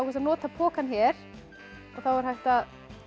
að nota pokann hér þá er hægt að